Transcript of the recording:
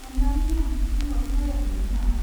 अन्नानै आं पिन'ट नयेर मोनगोन नामा?